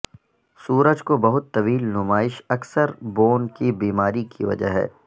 سورج کو بہت طویل نمائش اکثر بوون کی بیماری کی وجہ ہے